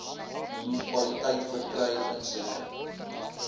munisipaliteit verkry insette